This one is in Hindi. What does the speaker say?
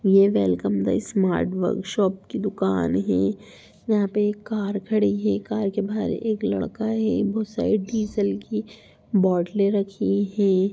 ये वेलकम द स्मार्ट वर्कशॉप की दुकान है यहाँ पे एक कार खड़ी है कार के बाहर एक लड़का है वो साइड डीजल की बोतले रखी हैं।